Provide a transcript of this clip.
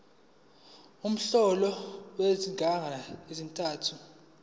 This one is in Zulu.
umholo wezinyanga ezintathu